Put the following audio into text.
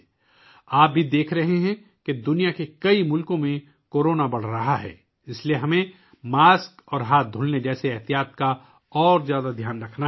آپ یہ بھی دیکھ رہے ہیں کہ دنیا کے کئی ممالک میں کورونا بڑھ رہا ہے، اس لیے ہمیں ماسک پہننے اور ہاتھ دھونے جیسی احتیاطی تدابیر کا زیادہ خیال رکھنا ہوگا